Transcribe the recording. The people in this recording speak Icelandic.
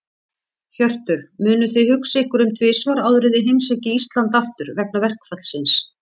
Hjörtur: Munuð þið hugsa ykkur um tvisvar áður en þið heimsækið Íslands aftur, vegna verkfallsins?